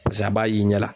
Pasike a b'a ye i ɲɛ la